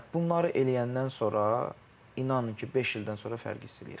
Hə, bunları eləyəndən sonra inanın ki, beş ildən sonra fərq hiss eləyəcəksiniz.